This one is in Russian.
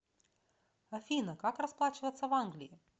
афина как расплачиваться в англии